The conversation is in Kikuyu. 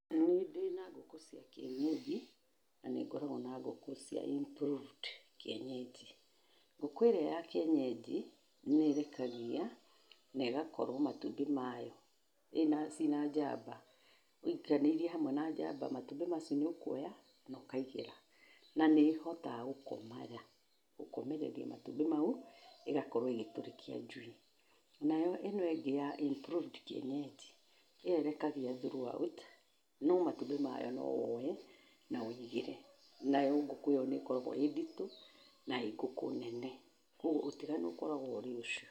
Niĩ ndĩna ngũkũ cia kienyeji na nĩ ngoragwo na ngũkũ cia improved kienyeji. Ngũkũ ĩrĩa ya kienyeji nĩ ĩrekagia na ĩgakorwo matubĩ mayo ciĩna njamba ũiganĩirie hamwe na njamba matubĩ macio nĩ ũkuoya na ũkaigĩra, na nĩ ĩhotaga gũkomereria matũbĩ mau ĩgakorwo ĩgĩtũrĩkia njui. Nayo ĩno ĩngĩ ya improved kienyeji ĩyo ĩrekagia through out no matũbĩ mayo no woe na ũĩgĩre, nayo ngũkũ ĩyo nĩ ĩkoragwo ĩĩ nditũ na ĩĩ ngũkũ nene, kwoguo ũtiganu ũkoragwo ũrĩ ũcio.